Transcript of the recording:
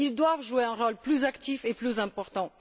Ils doivent jouer un rôle plus actif et plus important.